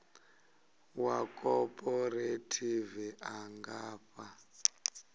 wa khophorethivi a nga fha